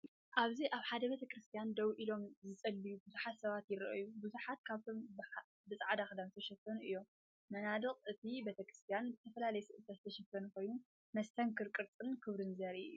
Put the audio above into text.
ኣብዚ ኣብ ሓደ ቤተ ክርስቲያን ደው ኢሎም ዝጽልዩ ብዙሓት ሰባት ይረኣዩ። ብዙሓት ካብኣቶም ብጻዕዳ ክዳንን ዝተሸፈኑ እዮም። መናድቕ እቲ ቤተክርስትያን ብዝተፈላለየ ስእልታት ዝተሸፈነ ኮይኑ፡ መስተንክር ቅርጽን ክብርን ዘርኢ እዩ።